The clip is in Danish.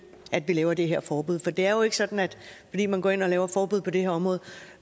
at vi laver det her forbud for det er jo ikke sådan at fordi man går ind og laver et forbud på det her område